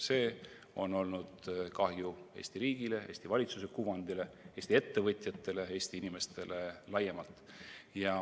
See on tekitanud kahju Eesti riigile, Eesti valitsuse kuvandile, Eesti ettevõtjatele, Eesti inimestele laiemalt.